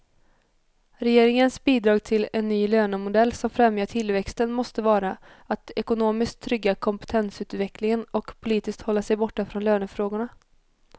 Regeringens bidrag till en ny lönemodell som främjar tillväxten måste vara att ekonomiskt trygga kompetensutvecklingen och politiskt hålla sig borta från lönefrågorna.